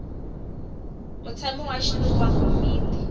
mutshami wa xitulu wa komiti